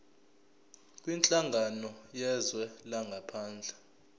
kwinhlangano yezwe langaphandle